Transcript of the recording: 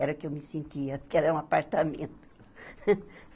Era o que eu me sentia, porque era um apartamento.